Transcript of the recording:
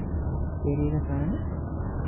Kerikasan'i